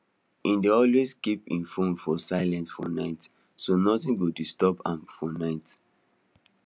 he dey always keep him phone for silent for night so nothing go disturb am for night